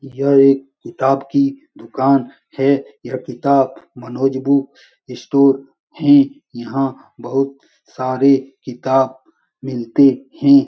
यह एक किताब की दूकान है । यह किताब मनोज बुक स्टोर है । यहाँ बहुत सारे किताब मिलते हैं |